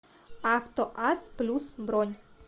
авто ас плюс бронь